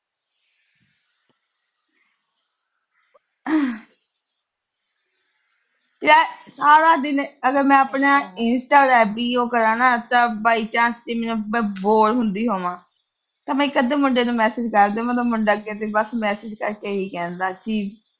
ਯਾਰ ਸਾਰਾ ਦਿਨ ਮੈਂ ਆਪਣਾ insta ਤਾਂ by chance ਮੈਂ ਮਤਲਬ bore ਹੁੰਦੀ ਹੋਵਾਂ, ਤਾਂ ਮੈਂ ਇੱਕ-ਅੱਧੇ ਮੁੰਡੇ ਨੂੰ message ਕਰਦੀ ਆ, ਮੁੰਡਾ ਅੱਗੋਂ ਦੀ message ਕਰਕੇ ਇਹੀ ਕਹਿੰਦਾ ਕਿ